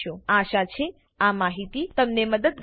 આશા છે આ માહિતી તમને મદદગાર નીવડે